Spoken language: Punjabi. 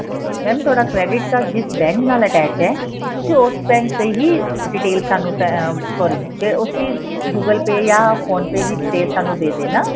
mam ਤੁਹਾਡਾ credit card ਜਿਸ ਬੈੰਕ ਨਾਲ attach ਹੈ ਤੁਸੀਂ ਉਸ ਬੈੰਕ ਤੇ ਹੀ detail ਸਾਨੂੰ sorry ਉਸੀ google pay ਜਾਂ phone pay ਦੀ detail ਸਾਨੂੰ ਦੇ ਦੇਣਾ